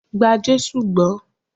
Gba Jésù gbó!